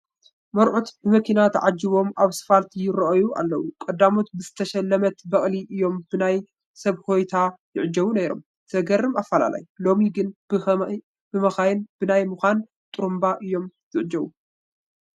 መርዑት ብመኪና ተዓጂቦም ኣብ ስፋልት ይርአዩ ኣለዉ፡፡ ቀዳሞት ብዝተሸለመት በቕሊ እዮም ብናይ ሰብ ሆታ ይዕጀቡ ነይሮም፡፡ ዝገርም ኣፈላላይ፡፡ ሎሚ ግን ብመኻይንን ብናይ መኻይን ጥሩንባን እዮም ዝዕጀቡ፡፡